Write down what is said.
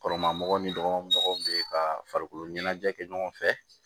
Kɔrɔma mɔgɔw ni dɔgɔmɔgɔw bɛ ka farikolo ɲɛnajɛ kɛ ɲɔgɔn fɛ